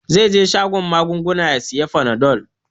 Zai je shagon magunguna ya sayi fanadol.